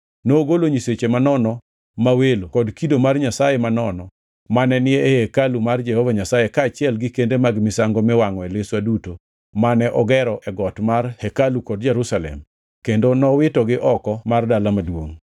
Nogolo nyiseche manono ma welo kod kido mar nyasaye manono mane ni e hekalu mar Jehova Nyasaye kaachiel gi kende mag misango miwangʼoe liswa duto mane ogero e got mar hekalu kod Jerusalem kendo nowitogi oko mar dala maduongʼ.